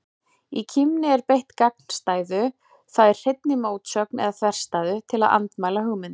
Í kímni er beitt gagnstæðu, það er hreinni mótsögn eða þverstæðu, til að andmæla hugmynd.